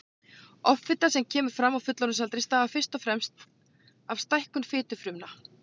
Offita sem kemur fram á fullorðinsaldri stafar fyrst og fremst af stækkun fitufrumna.